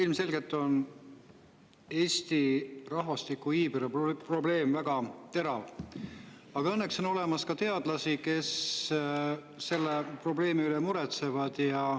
Ilmselgelt on Eestis iibeprobleem väga terav, aga õnneks on olemas teadlasi, kes selle probleemi pärast muretsevad.